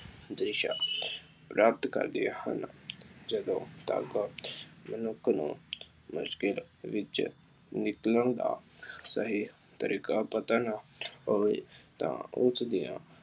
ਦਿਸ਼ਾ ਪ੍ਰਾਪਤ ਕਰਦੀਆਂ ਹਨ। ਜਦੋਂ ਤੱਕ ਮਨੁੱਖ ਨੂੰ ਮੁਸ਼ਕਿਲ ਵਿੱਚ ਨਿਕਲਣ ਦਾ ਸਹੀ ਤਰੀਕਾ ਪਤਾ ਪੁੱਛੇ ਹੋਵੇ ਤਾਂ ਉਸ ਦੀਆਂ